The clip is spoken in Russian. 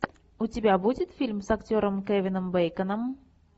у тебя будет фильм с актером кевином бейконом